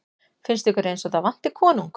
Finnst ykkur eins og það vanti konung?